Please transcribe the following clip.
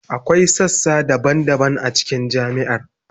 Akwai sassa daban-daban a cikin jami'ar.